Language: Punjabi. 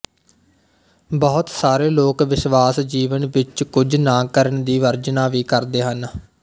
ਬਹੁਤ ਸਾਰੇ ਲੋਕ ਵਿਸ਼ਵਾਸ ਜੀਵਨ ਵਿੱਚ ਕੁਝ ਨਾ ਕਰਨ ਦੀ ਵਰਜਨਾ ਵੀ ਕਰਦੇ ਹਨ